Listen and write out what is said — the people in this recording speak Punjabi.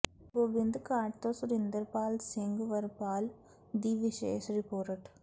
ਗੋਬਿੰਦ ਘਾਟ ਤੋਂ ਸੁਰਿੰਦਰਪਾਲ ਸਿੰਘ ਵਰਪਾਲ ਦੀ ਵਿਸ਼ੇਸ਼ ਰਿਪੋਰਟ